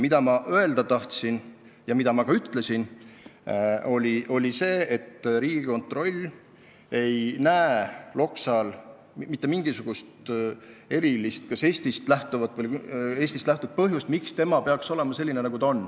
Mida ma öelda tahtsin ja mida ma ka ütlesin, oli see, et Riigikontroll ei näe Loksa puhul mitte mingisugust erilist põhjust, miks ta peaks olema selline, nagu ta on.